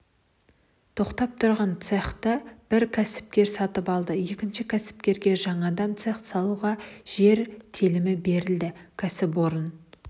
тоқтап тұрған цехті бір кәсіпкер сатып алды екінші кәсіпкерге жаңадан цех салуға жер телімі берілді кәсіпорын